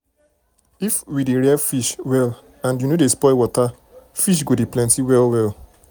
if we dey rear fish well and you no dey spoil water fish go dey plenty well well.